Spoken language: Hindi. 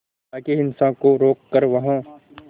ताकि हिंसा को रोक कर वहां